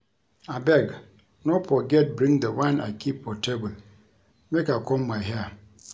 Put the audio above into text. Abeg no forget bring the wine I keep for table make I comb my hair